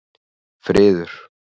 Friður